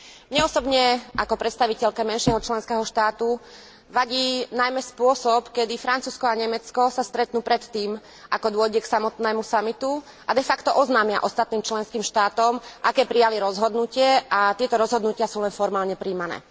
Mne osobne, ako predstaviteľke menšieho členského štátu, vadí najmä spôsob, kedy Francúzsko a Nemecko sa stretnú predtým, ako dôjde k samotnému samitu, a de facto oznámia ostatným členským štátom, aké prijali rozhodnutie a tieto rozhodnutia sú len formálne prijímané.